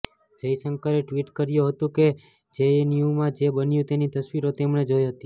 જયશંકરે ટ્વીટ કર્યું હતું કે જેએનયુમાં જે બન્યું તેની તસવીરો તેમણે જોઇ હતી